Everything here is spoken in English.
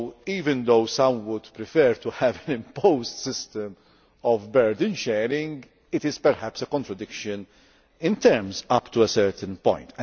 Even though some would prefer to have an imposed system of burden sharing, it is perhaps a contradiction in terms up to a certain